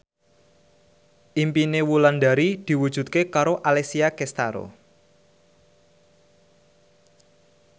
impine Wulandari diwujudke karo Alessia Cestaro